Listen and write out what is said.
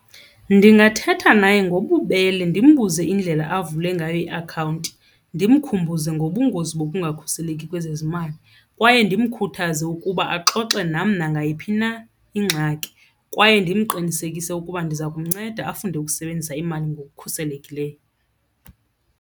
Ndingathetha naye ngobubele ndimbuze indlela avule ngayo iakhawunti. Ndimkhumbuze ngobungozi bokungakhuseleki kwezezimali kwaye ndimkhuthaze ukuba axoxe nam nangayiphi na ingxaki, kwaye ndimqinisekise ukuba ndiza kumnceda afunde ukusebenzisa imali ngokukhuselekileyo.